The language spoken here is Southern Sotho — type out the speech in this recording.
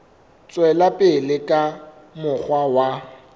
tswela pele ka mokgwa wa